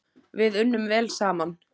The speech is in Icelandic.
Við unnum vel saman.